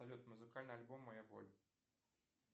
салют музыкальный альбом моя боль